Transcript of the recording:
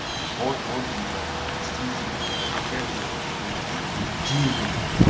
вот-вот ебать действительно я такая же хуйня уже неделю нахуй